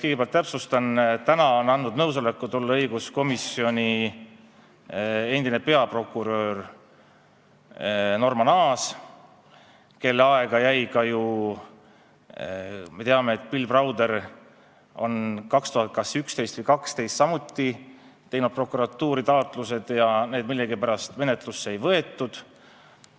Kõigepealt täpsustan, et täna on andnud nõusoleku õiguskomisjoni tulemiseks endine peaprokurör Norman Aas, kelle aega jäi ka ju, me teame, see, et Bill Browder tegi kas 2011 või 2012 samuti prokuratuuri taotlused, aga neid millegipärast menetlusse ei võetud.